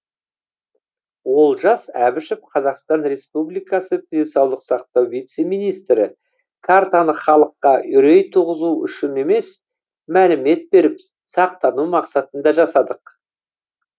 олжас әбішев қазақстан республикасы денсаулық сақтау вице министрі картаны халыққа үрей туғызу үшін емес мәлімет беріп сақтану мақсатында жасадық